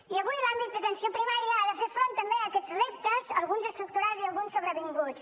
i avui l’àmbit d’atenció primària ha de fer front també a aquests reptes alguns estructurals i alguns sobrevinguts